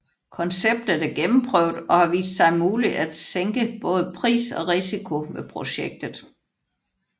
Konceptet er gennemprøvet og har vist sig muligt at sænke både pris og risiko ved projektet